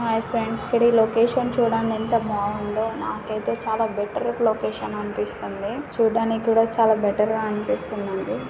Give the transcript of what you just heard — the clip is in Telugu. హాయ్ ఫ్రెండ్స్ ఇక్కడ ఈ లొకేషన్ చుడండి ఎంత బాగుందో నాకయితే చాలా బెటర్ లొకేషన్ అనిపిస్తుంది . చూడ్డానికి కూడా చాలా బెటర్ గా అనిపిస్తుంది నాకు.